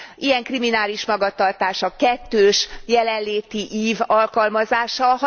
Ilyen kriminális magatartás a kettős jelenléti ív alkalmazása.